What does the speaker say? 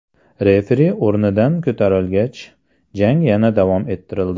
Referi o‘rnidan ko‘tarilgach, jang yana davom ettirildi.